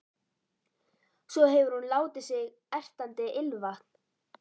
Svo hefur hún látið á sig ertandi ilmvatn.